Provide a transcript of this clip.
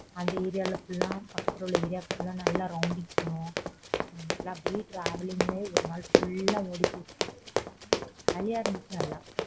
அந்த area ல full பக்கத்துல உள்ள area ல full நல்ல rounding போனோம் அப்பிடியே travelling ல ஒரு நாள் ஓடி போச்சு jolly யா இருந்துச்சு நல்லா